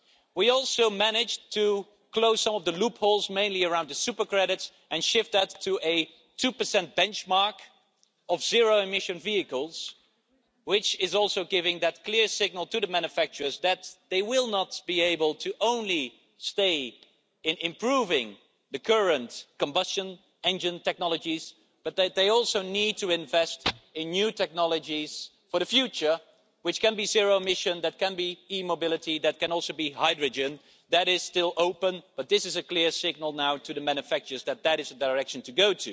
We also managed to close all the loopholes, mainly around the super credits, and shift that to a 2 benchmark of zero emission vehicles, which also gives a clear signal to the manufacturers that they will not be able to stay only improving current combustion engine technologies, but that they also need to invest in new technologies for the future, which can be zero-emission, e-mobility and also hydrogen. That is still open, but this is a clear signal now to the manufacturers that this is the direction to